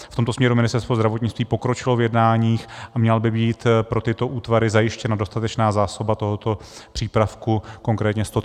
V tomto směru Ministerstvo zdravotnictví pokročilo v jednáních a měla by být pro tyto útvary zajištěna dostatečná zásoba tohoto přípravku, konkrétně 130 balení.